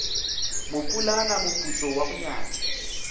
mopulana moputso wa go nyatša